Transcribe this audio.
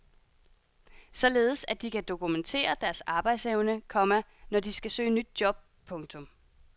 Således at de kan dokumentere deres arbejdsevne, komma når de skal søge nyt job. punktum